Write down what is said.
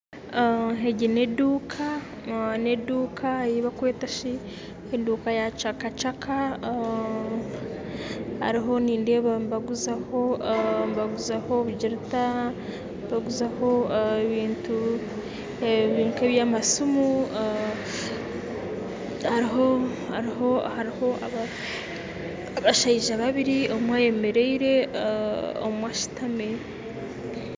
Egi n'edduka yibakwetashi edduka ya kyakakyaka, hariho nindeba nibaguzaho obugyirita, ebintu nk'ebyamasimu, hariho abashijja babiri omwe ayemerire ondijjo ashitami.